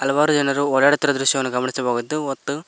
ಹಲವಾರು ಜನರು ಓಡಾಡ್ತಾ ಇರುವ ದೃಶ್ಯವನ್ನು ಗಮನಿಸಬಹುದು ಮತ್ತು.